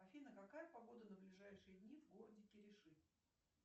афина какая погода на ближайшие дни в городе кириши